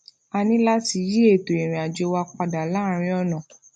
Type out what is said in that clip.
a ní láti yí ètò ìrìnàjò wa padà láàárín ònà